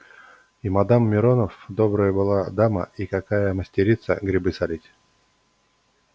и мадам миронов добрая была дама и какая мастерица грибы солить